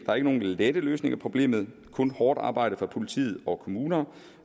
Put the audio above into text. er ingen lette løsninger på problemet kun hårdt arbejde fra politi og kommuner